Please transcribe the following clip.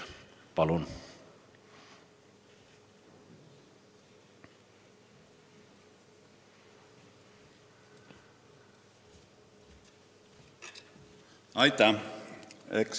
Palun!